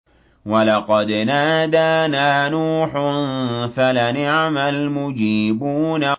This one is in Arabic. وَلَقَدْ نَادَانَا نُوحٌ فَلَنِعْمَ الْمُجِيبُونَ